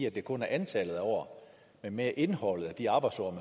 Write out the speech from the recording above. at det kun er antallet af år men mere indholdet af de arbejdsår